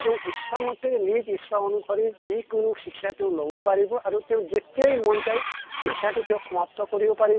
তেওঁ ইচ্ছামতে নিজ ইচ্ছা অনুসৰি যি কোনো শিক্ষা তেওঁ লʼব পাৰিব আৰু তেওঁ যেতিয়াই মন যায় শিক্ষা টো তেওঁ সমাপ্ত কৰিব পাৰিব